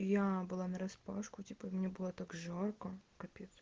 я было нараспашку типа мне было так жарко